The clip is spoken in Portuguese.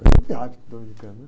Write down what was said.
Coisa de hábito dominicano, né?